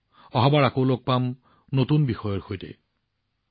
অহাবাৰ নতুন বিষয়ৰ সৈতে পুনৰ লগ পাম